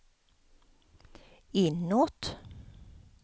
inåt